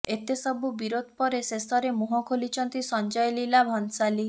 ଏତେ ସବୁ ବିରୋଧ ପରେ ଶେଷରେ ମୁହଁ ଖୋଲିଛନ୍ତି ସଞ୍ଜୟ ଲୀଲା ଭଂସାଲି